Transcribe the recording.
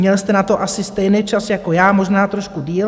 Měl jste na to asi stejný čas jako já, možná trošku déle.